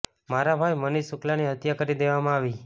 મારા ભાઈ મનીષ શુક્લાની હત્યા કરી દેવામાં આવી